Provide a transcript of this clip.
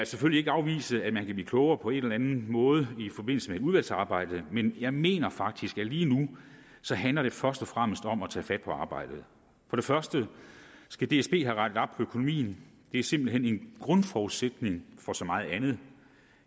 selvfølgelig ikke afvise at man kan blive klogere på en eller anden måde i forbindelse med et udvalgsarbejde men jeg mener faktisk at lige nu handler det først og fremmest om at tage fat på arbejdet for det første skal dsb have rettet op på økonomien det er simpelt hen en grundforudsætning for så meget andet